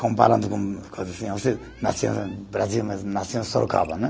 Comparando com o nasceu Brasil mesmo, nasceu em Sorocaba né.